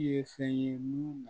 I ye fɛn ye mun na